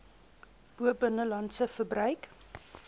bo binnelandse verbruik